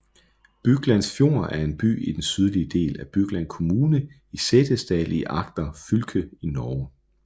Byglandsfjord er en by i den sydlige del af Bygland kommune i Setesdal i Agder fylke i Norge